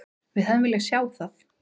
Við hefðum viljað sjá það.